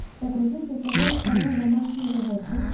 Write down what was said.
загрузи на тв канал домашние животные